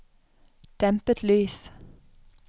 dempet lys